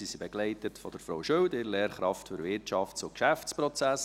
Sie werden begleitet von Frau Schild, ihrer Lehrkraft für Wirtschafts- und Geschäftsprozesse.